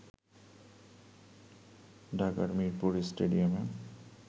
ঢাকার মীরপুর স্টেডিয়ামে